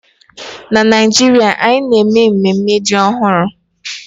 Na Naijiria, anyị na-eme mmemme ji ọhụrụ